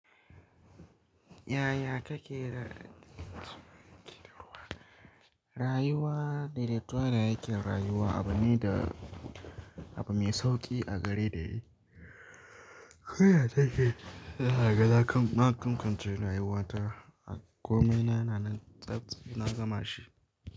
Yaya kake ra rayuwa? Rayuwa da daidaituwa da yake rayuwa abu ne da abu mai sauki a gare rai. Koya take zaga na kan na kamkamce rayuwata a komi na, na nan tsaf na gama shi.